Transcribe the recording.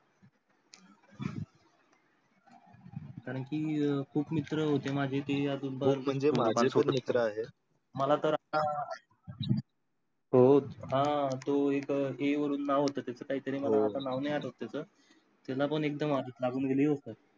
कारण की खुप मित्र होते माझे ते अजून पण खूप म्हणजे माझे स्वतःचे मित्र आहेत. मला तर आता हो, हा तो इथे A वरून नाव होत त्याच काय तरी मला आता नाव नाही आठवत त्याच. त्याला पण एक्दम आदत लागून गेलती.